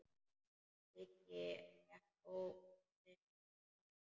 Siggi gekk ógnandi að Svenna.